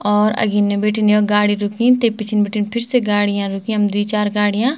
और अगिने बीटिन यो गाडी रुकीं ते पीछेंन बीटिन फिरसे गाडीयां रुकीं यम द्वि चार गाड़ियां।